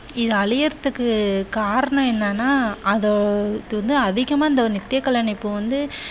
இது அழியதற்கு காரணம் என்னன்னா அதோ இது வந்து அதிகமா வந்து நித்திய கல்யாணி பூ வந்து